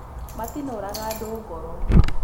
Matinũraga andũ ngoro